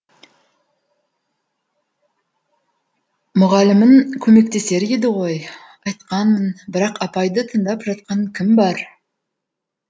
мұғалімің көмектесер еді ғой айтқанмын бірақ апайды тыңдап жатқан кім бар